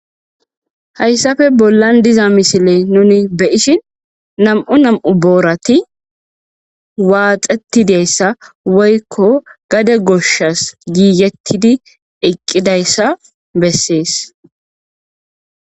hayssafe bollan diza misile nuni beyishin nam7u nam7u boorati waaxettideyssa woykko gade goshshas giigettidi eqqidayssa bessees